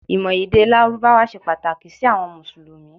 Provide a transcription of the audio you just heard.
ìmọ̀ èdè lárúbáwá se Pataki si awọn musulumi